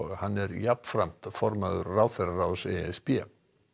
hann er jafnframt formaður ráðherraráðs e s b